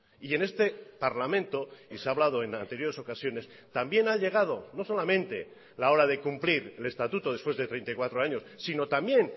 y en este parlamento y se ha hablado en anteriores ocasiones también ha llegado no solamente la hora de cumplir el estatuto después de treinta y cuatro años sino también